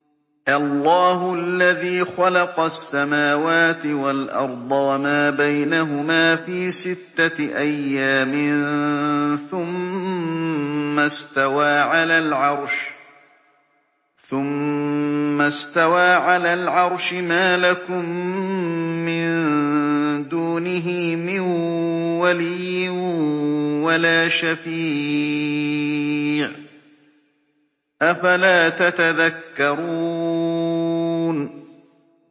اللَّهُ الَّذِي خَلَقَ السَّمَاوَاتِ وَالْأَرْضَ وَمَا بَيْنَهُمَا فِي سِتَّةِ أَيَّامٍ ثُمَّ اسْتَوَىٰ عَلَى الْعَرْشِ ۖ مَا لَكُم مِّن دُونِهِ مِن وَلِيٍّ وَلَا شَفِيعٍ ۚ أَفَلَا تَتَذَكَّرُونَ